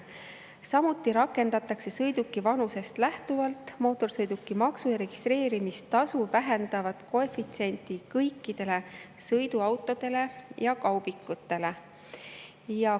Samuti rakendatakse sõiduki vanusest lähtuvalt mootorsõidukimaksu ja registreerimistasu vähendavat koefitsienti kõikide sõiduautode ja kaubikute puhul.